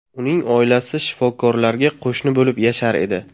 Uning oilasi shifokorlarga qo‘shni bo‘lib yashar edi.